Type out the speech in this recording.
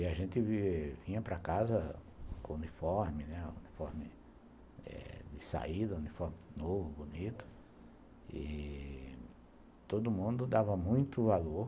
E a gente vinha para casa com uniforme, uniforme de saída, uniforme novo, bonito, e todo mundo dava muito valor